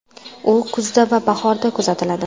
U kuzda va bahorda kuzatiladi.